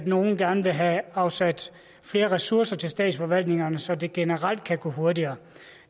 nogle gerne vil have afsat flere ressourcer til statsforvaltningerne så det generelt kan gå hurtigere